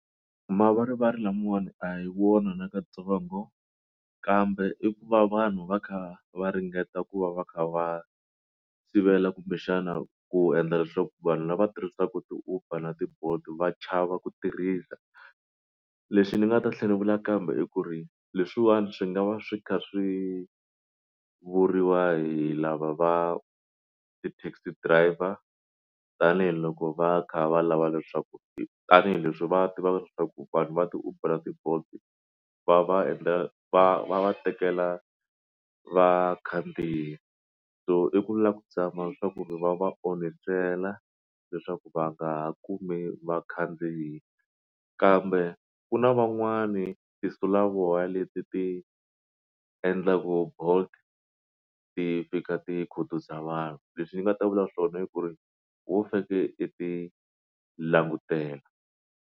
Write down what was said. Mavarivari lamawani a hi wona na katsongo kambe i ku va vanhu va kha va ringeta ku va va kha va sivela kumbexana ku endla leswaku vanhu lava tirhisaka ti-uber na ti-bolt va chava ku tirhisa leswi ni nga ta hlamula kambe i ku ri leswiwani swi nga va swi kha swi vuriwa hi lava va ti taxi driver tanihiloko va kha va lava leswaku tanihileswi va tivaka leswaku vanhu va ti-uber ti-bolt va va endla va va va tekela vakhandziyi so i ku lava ku zama swa ku ri va va onhisela leswaku va nga kumi vakhandziyi kambe ku na van'wani tinsulavoya leti ti endlaka bolt ti fika ti khutuza vanhu leswi ni nga ta vula swona ku ri wo feke i ti langutela.